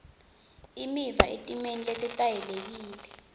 imiva etimeni letetayelekile